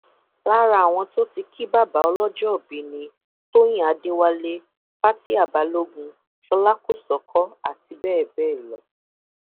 gbogbo ẹsùn ọhún pátá ni ni ọlọpàá olùpẹjọ ní òfin ìlú èkó kò fààyè gbà rárá